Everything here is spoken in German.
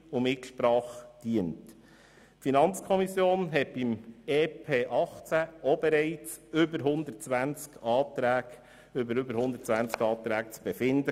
Die FiKo hatte im Zusammenhang mit dem EP 2018 über mehr als 120 Anträge zu befinden.